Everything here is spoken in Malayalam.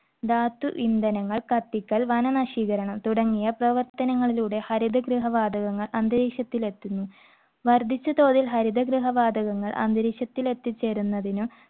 ധാതു ഇന്ധനങ്ങൾ കത്തിക്കൽ, വന നശീകരണം തുടങ്ങിയ പ്രവർത്തനങ്ങളിലൂടെ ഹരിതഗൃഹ വാതകങ്ങൾ അന്തരീക്ഷത്തിൽ എത്തുന്നു. വർധിച്ച തൊഴിൽ ഹരിതഗൃഹ വാതകങ്ങൾ അന്തരീക്ഷത്തിൽ എത്തിച്ചേരുന്നതിനു